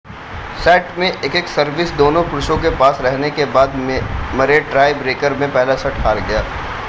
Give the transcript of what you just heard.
set में एक-एक service दोनों पुरुषों के पास रहने के बाद मरे टाई ब्रेकर में पहला सेट हार गया